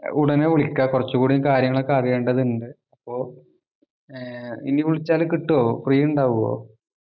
ഉടനെ വിളിക്ക കൊറച്ച് കൂടി കാര്യങ്ങളൊക്കെ അറിയേണ്ടത് ഉണ്ട് അപ്പൊ ഏർ ഇനി വിളിച്ചാല് കിട്ടിയ free ഇണ്ടാവുഓ